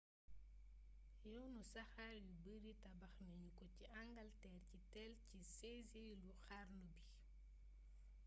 yoonu saxar yu bari tabax nañu ko ci angalteer ci téél ci 16eelu xarnu bi